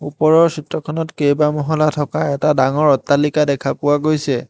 ওপৰৰ চিত্ৰখনত কেইবা মহলা থকা এটা ডাঙৰ অট্টালিকা দেখা পোৱা গৈছে।